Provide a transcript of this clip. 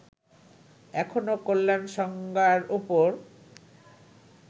এখনও কল্যাণ সংজ্ঞার উপর